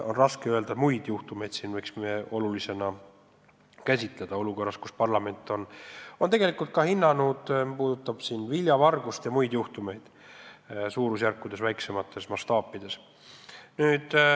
On raske nimetada muid juhtumeid, mida me võiks ka olulistena käsitleda, aga parlament on ju hinnanud näiteks ka viljavargust ja muidki süütegusid, mille suurusjärgud on väiksemad.